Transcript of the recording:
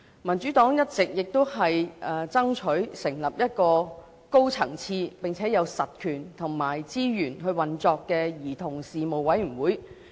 民主黨一直爭取成立一個高層次並有實權和資源運作的兒童事務委員會。